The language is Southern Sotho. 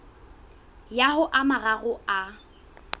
ya ho a mararo a